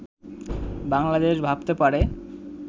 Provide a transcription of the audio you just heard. বাংলাদেশ ভাবতে পারে